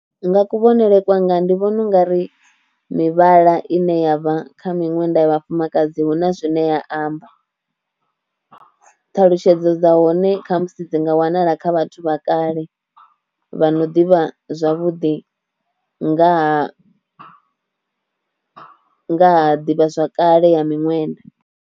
Nga kuvhonele kwanga ndi vhona ungari mivhala ine ya vha kha miṅwenda ya vhafumakadzi huna zwine ya amba, ṱhalutshedzo dza hone kha musi dzi nga wanala kha vhathu vha kale vha no ḓivha zwavhuḓi nga ha nga ha ḓivhazwakale ya miṅwenda.